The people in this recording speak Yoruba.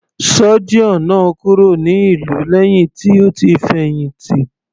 Surgeon náà kúrò ní ìlú lẹ́hìn tó ti fẹ̀hìntì.